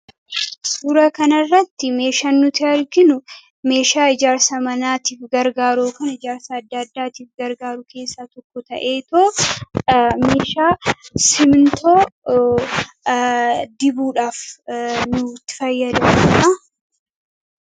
Suuraa kanarratti meeshaa nuti arginu meeshaa ijaarsa manaatiif gargaaru kan ijaarsa addaa addaatiif gargaaruu keessa tokko ta'eetoo meeshaa siimiintoo dibuudhaaf kan itti fayyadamnudha.